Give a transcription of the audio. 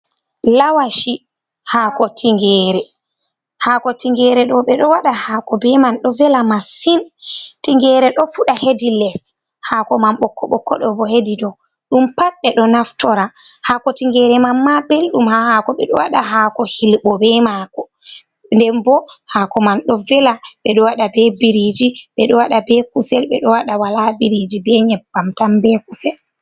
Lawashi, haako tingeere, haako tingeere ɗo ɓe ɗo waɗa haako bee man ɗo vela masin, tingeere ɗo fuɗa heedi les, haako man bokko-bokko ɗo bo hedi do dow pat ɓe ɗo naftora, haŋko tingeere man maa belɗum haa haako, ɓe ɗo waɗa haako Hilɓo bee maako nden boo haako man ɗo vela ɓe ɗo waɗa bee biriiji, ɓe ɗo waɗa bee kusel, ɓe ɗo waɗa walaa biriiji bee nyebbam tan bee kusel.